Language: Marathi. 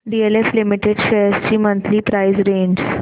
डीएलएफ लिमिटेड शेअर्स ची मंथली प्राइस रेंज